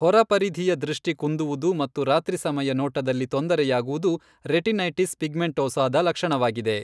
ಹೊರಪರಿಧಿಯ ದೃಷ್ಟಿ ಕುಂದುವುದು ಮತ್ತು ರಾತ್ರಿಸಮಯ ನೋಟದಲ್ಲಿ ತೊಂದರೆಯಾಗುವುದು ರೆಟಿನೈಟಿಸ್ ಪಿಗ್ಮೆಂಟೋಸಾದ ಲಕ್ಷಣವಾಗಿದೆ .